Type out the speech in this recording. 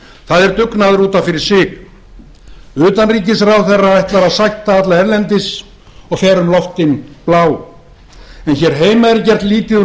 það er dugnaður út af fyrir sig utanríkisráðherra ætlar að sætta alla erlendis og fer um loftin blá en hér heima er gert lítið úr